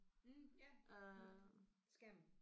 Mh ja skærmen